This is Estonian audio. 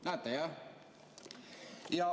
Näete, jah?